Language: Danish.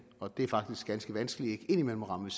og det er faktisk ganske vanskeligt ikke ind imellem at ramme